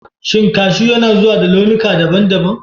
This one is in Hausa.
Shin kashu yana zuwa da launuka daban-daban?